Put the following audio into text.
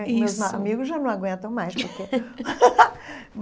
Isso Meus amigos já não aguentam mais porque.